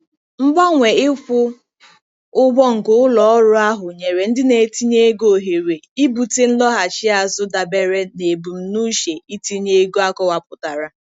Mgbanwe ịkwụ ụgwọ nke ụlọ ọrụ ahụ nyere ndị na-etinye ego ohere ibute nlọghachi azụ dabere na ebumnuche itinye ego akọwapụtara.